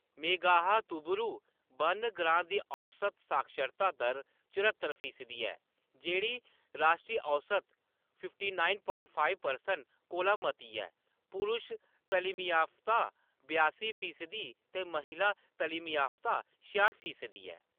मेघाहातुबुरु वन ग्रांऽ दी औसत साक्षरता दर चरह्त्तर फीसदी ऐ, जेह्‌‌ड़ी राश्ट्री औसत fifty nine point five percent कोला मती ऐ; पुरुश तलीमयाफ्ता बयासी फीसदी ते महिला तलीमयाफ्ता छेआट फीसदी ऐ।